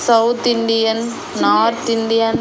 South Indian north Indian .